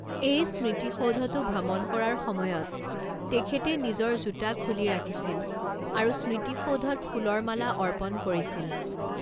এই স্মৃতিসৌধটো ভ্ৰমণ কৰাৰ সময়ত তেখেতে নিজৰ জোতা খুলি ৰাখিছিল আৰু স্মৃতিসৌধত ফুলৰ মালা অৰ্পণ কৰিছিল।